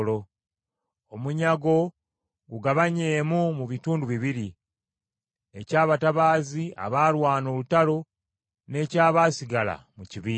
Omunyago gugabanyeemu mu bitundu bibiri: eky’abatabaazi abaalwana olutalo n’ekyabaasigala mu kibiina.